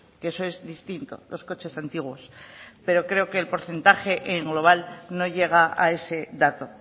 que eso es distinto los coches antiguos pero creo que el porcentaje en global no llega a ese dato